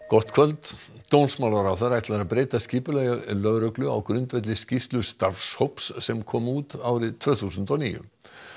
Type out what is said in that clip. gott kvöld dómsmálaráðherra ætlar að breyta skipulagi lögreglu á grundvelli skýrslu starfshóps sem kom út árið tvö þúsund og níu